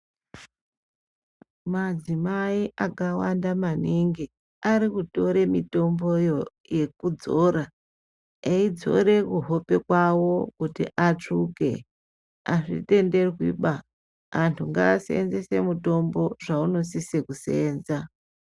Madzimai akawanda maningi ari kutora mitomboyo yekudzora eidzore kuhope kwavo kuti atsvuke. Azvitenderwiba antu ngaashandisie mitombo zvaunosise kuseenza.